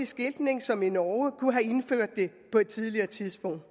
skiltning som i norge kunne have indført det på et tidligere tidspunkt